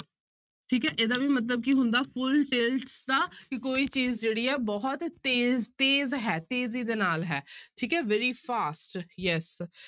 ਠੀਕ ਹੈ ਇਹਦਾ ਵੀ ਮਤਲਬ ਕੀ ਹੁੰਦਾ full tilt ਦਾ ਕਿ ਕੋਈ ਚੀਜ਼ ਜਿਹੜੀ ਹੈ ਬਹੁਤ ਤੇਜ਼ ਤੇਜ਼ ਹੈ ਤੇਜ਼ੀ ਦੇ ਨਾਲ ਹੈ ਠੀਕ ਹੈ very fast yes